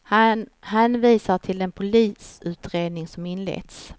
Han hänvisar till den polisutredning som inletts.